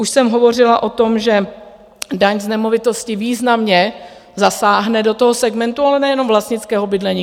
Už jsem hovořila o tom, že daň z nemovitosti významně zasáhne do toho segmentu, ale nejenom vlastnického bydlení.